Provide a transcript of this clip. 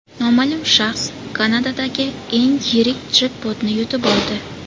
Noma’lum shaxs Kanadadagi eng yirik jekpotni yutib oldi.